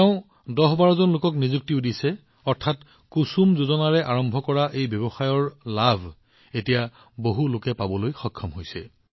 তেওঁলোকে ১০১২ জন লোকক নিযুক্তি প্ৰদান কৰিছে অৰ্থাৎ কুসুম যোজনাৰ পৰা আৰম্ভ হোৱা কমলজীৰ উদ্যোগৰ সুবাস বহু লোকৰ ওচৰলৈ বিয়পিবলৈ আৰম্ভ কৰিছে